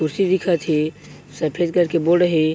कुर्सी दिखत हे सफ़ेद कलर के बोर्ड हे।